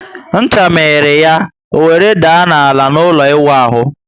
Ncha miri ya, o were daa ná ala n'ụlọ iwu ahu